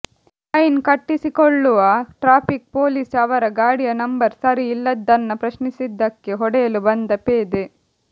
fine ಕಟ್ಟಿಸಿಕೊಳ್ಳುವ traffic police ಅವರ ಗಾಡಿಯ ನಂಬರ್ ಸರಿ ಇಲ್ಲದ್ದನ್ನ ಪ್ರಶ್ನಿಸಿದಕ್ಕೆ ಹೊಡೆಯಲು ಬಂದ ಪೇದೆ